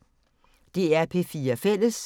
DR P4 Fælles